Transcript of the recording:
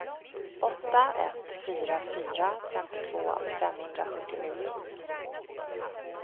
åtta ett fyra fyra femtiotvå femhundrasjuttionio